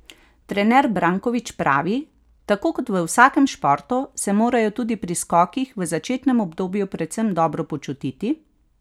Trener Brankovič pravi: ''Tako kot v vsakem športu, se morajo tudi pri skokih v začetnem obdobju predvsem dobro počutiti.